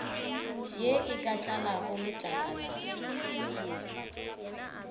ye e ka tlalago letlakalale